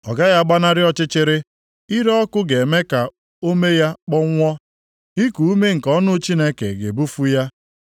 Ọ gaghị agbanarị ọchịchịrị, ire ọkụ ga-eme ka ome ya kpọnwụọ, iku ume nke ọnụ Chineke ga-ebufu ya.